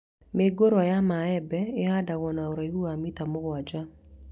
Mĩũngũrwa ya mĩembe ĩhandagwo na ũraihu wa mita mũgwanja